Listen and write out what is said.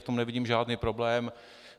V tom nevidím žádný problém.